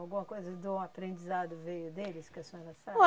Alguma coisa do aprendizado veio deles que a senhora sabe?